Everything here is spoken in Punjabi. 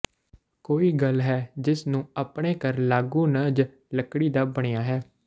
ਕੋਈ ਗੱਲ ਹੈ ਜਿਸ ਨੂੰ ਆਪਣੇ ਘਰ ਲਾਗ ਨੂੰ ਜ ਲੱਕੜੀ ਦਾ ਬਣਿਆ ਹੈ